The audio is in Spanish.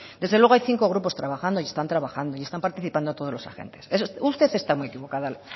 desde luego hay cinco grupos trabajando y están trabajando y están participando todos los agente usted está muy equivocada